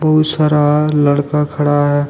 बहुत सारा लड़का खड़ा है।